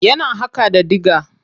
Yana haƙa da dIga.